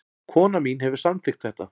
Konan mín hefur samþykkt þetta